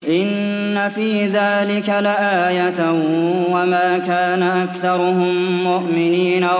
إِنَّ فِي ذَٰلِكَ لَآيَةً ۖ وَمَا كَانَ أَكْثَرُهُم مُّؤْمِنِينَ